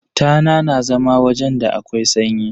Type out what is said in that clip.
Tana na zama wajen da akwai sanyi.